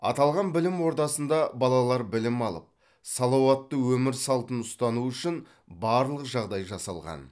аталған білім ордасында балалар білім алып салауатты өмір салтын ұстану үшін барлық жағдай жасалған